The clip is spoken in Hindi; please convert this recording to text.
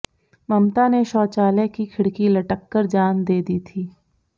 ममता ने शौचालय की खिड़की लटककर जान दे दी थी